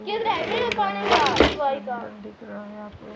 दिख रहा है आप --